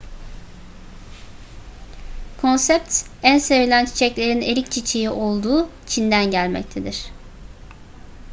konsept en sevilen çiçeklerin erik çiçeği olduğu çin'den gelmektedir